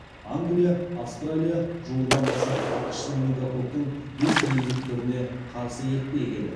англия австралия жуырдан бастап ақш менингококктың бес негізгі түріне қарсы екпе егеді